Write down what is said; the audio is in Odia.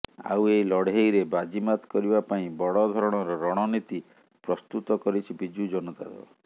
ଆଉ ଏହି ଲଢ଼େଇରେ ବାଜିମାତ କରିବା ପାଇଁ ବଡଧରଣର ରଣନୀତି ପ୍ରସ୍ତୁତ କରିଛି ବିଜୁ ଜନତା ଦଳ